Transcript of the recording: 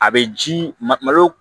A bɛ ji ma malo